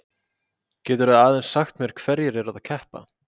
Geturðu aðeins sagt mér hverjir eru að keppa?